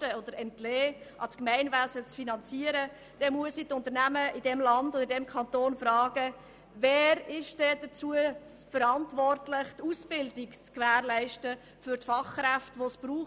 der Mitfinanzierung des Gemeinwesens entlassen, dann muss ich die Unternehmen in diesem Kanton fragen, wer denn dafür verantwortlich ist, die Ausbildung der notwendigen Fachkräfte zu gewährleisten.